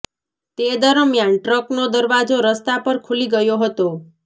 તે દરમિયાન ટ્રકનો દરવાજો રસ્તા પર ખુલી ગયો હતો